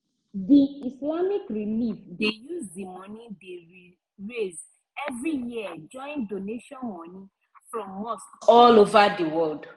the islamic relief dey use di money dey raise every year join doantion money from mosque all over di world.